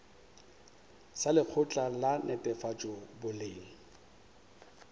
sa lekgotla la netefatšo boleng